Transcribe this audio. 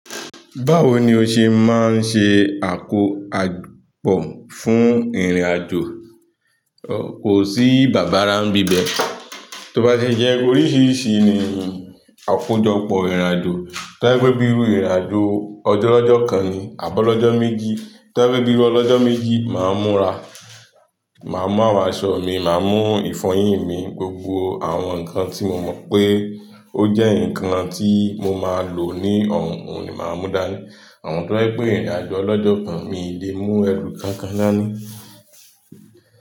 Báwo ni o ṣe máa ń ṣe àkó pọ̀ fún ìrìnàjò? Kò sí bàbà ra ń bíbẹ, tó bá ti jẹ́ oríṣìíríṣìí ni àkojọpọ̀ ìrìnàjò. Tó bá pé bíi ìrìnàjò ọjọ́lọ́jọ́ kan ni àbi ọlọ́jọ́ méjì, tó bá pé bíi iru ọlọ́jọ́ méjì, màá múra, màá mú àwọn aṣọ mi, màá mú ìfọyín mi, gbogbo àwọn nǹkan tí mo mọ̀ pé ó jẹ́ nǹkan tí mo máa lò ní ọ̀hún òun ni màá mú dání. Àmọ́ tó bàjẹ́ pé ìrìnàjò ọlọ́jọ́ kan, mi ò lè mú ẹrù kankan dání.